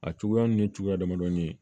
A cogoya ninnu ye cogoya damadɔni ye